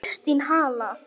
Kristín Halla.